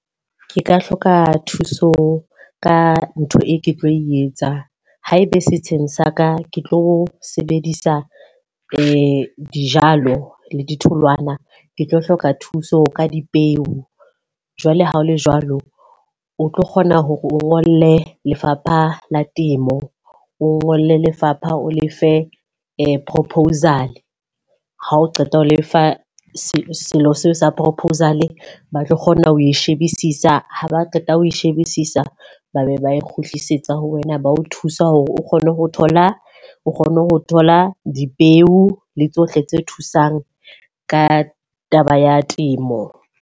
Ke ka hloka thuso ka ntho e ke tlo e etsa. Ha e be setsheng sa ka ke tlo sebedisa dijalo le ditholwana. Ke tlo hloka thuso ka dipeo. Jwale ha ho le jwalo, o tlo kgona hore o ngole Lefapha la Temo, o ngolle lefapha o lefe proposal. Ha o qeta ho lefa seno sa proposal, batho tlo kgona ho e shebisisa ha ba qeta ho e shebisisa ba be ba e kgutlisetsa ho wena. Ba o thusa hore o kgone ho thola o kgone ho thola dipeo le tsohle tse thusang ka taba ya temo.